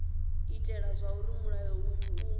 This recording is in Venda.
itela zwauri mulayo uyu u